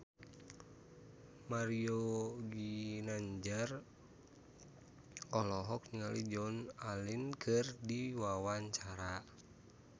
Mario Ginanjar olohok ningali Joan Allen keur diwawancara